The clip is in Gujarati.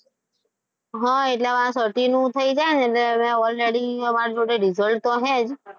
હા એટલે આ certify નું થઈ જાય ને એટલે already મારી પાસે result તો છે જ